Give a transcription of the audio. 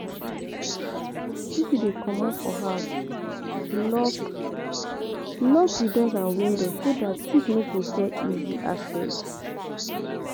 If you dey comot for house, lock lock di doors and windows so dat thief no go get easy access